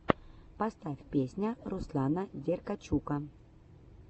поставь песня руслана деркачука